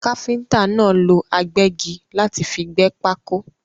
Káfíntà náà lọ agbẹ́gi láti fi gbẹ́ pákó.